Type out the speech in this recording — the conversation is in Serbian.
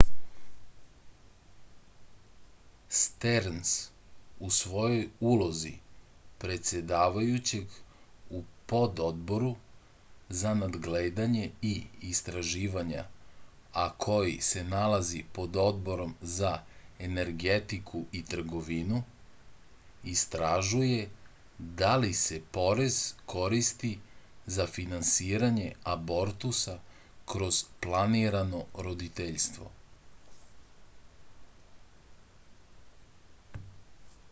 sterns u svojoj ulozi predsedavajućeg u pododboru za nadgledanje i istraživanja a koji se nalazi pod odborom za energetiku i trgovinu istražuje da li se porez koristi za finansiranje abortusa kroz planirano roditeljstvo